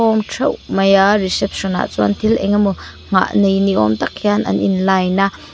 awm theuh mai a reception ah chuan thil engemaw nghah nei ni awm tak hian an in line a.